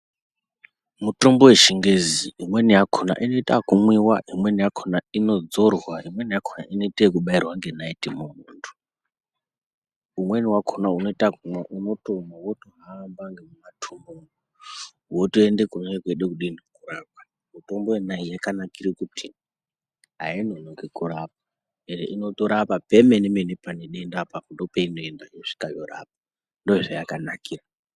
Mutombo yechingezi imweni yakona inoita okumwiwa , imweni yakona inodzorwa , imweni yakona inoite ekubairwa ngenaiti mumwiri womuntu , umweni wakona unoita ekumwiwa unotomwa wotohamba ngemumatumbu umu wotoende kunenge kweide kudinii kurapwa , mitombo yona iyi yakanakire kuti ainonoki kurapa ende inotirapa pemene mene panedendapo apo ndopeinoenda yosvikanyorapa ndoyazvayakanira.